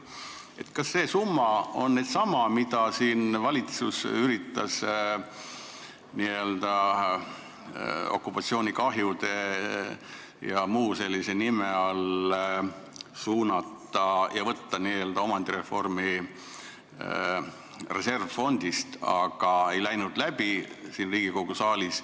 Ma küsin, kas see summa on nüüd sama, mida valitsus üritas okupatsioonikahjude jms nime all neile suunata ja võtta n-ö omandireformi reservfondist, aga ei läinud läbi siin Riigikogu saalis.